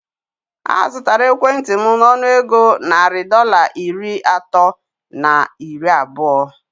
A zụtara ekwentị m nọnụ égo narị Dọlas iri atọ na iri abụọ